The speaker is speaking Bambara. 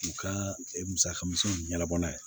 U ka musaka misɛnninw ɲɛnabɔ n'a ye